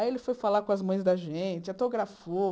Aí ele foi falar com as mães da gente, autografou.